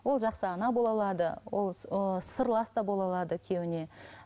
ол жақсы ана бола алады ол ыыы сырлас та бола алады күйеуіне